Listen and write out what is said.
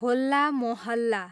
होल्ला मोहल्ला